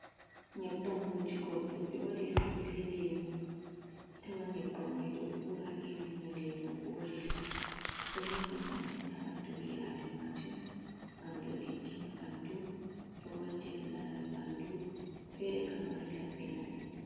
Nyebbam wujugo ɗum ɓe waɗir ɗum be lemu, atawan nyebbam mai ɗo ura irin no leemu urirta, ɗo mari nafu masin haɓandu ɓi adamajo, gam ɗo diggina ɓandu ɗo waltina laral ɓandu, fere kama ɗo labbina ɓe.